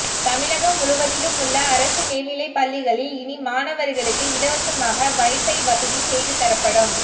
தமிழகம் முழுவதிலும் உள்ள அரசு மேல்நிலைப்பள்ளிகளில் இனி மாணவர்களுக்கு இலவசமாக வைஃபை வசதி செய்து தரப்படும்